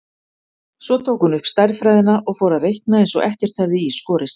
Svo tók hún upp stærðfræðina og fór að reikna eins og ekkert hefði í skorist.